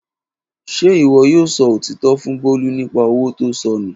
Ṣe iwọ yoo sọ otitọ fun Bolu nipa owo to sọ nu?